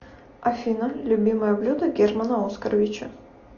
афина любимое блюдо германа оскаровича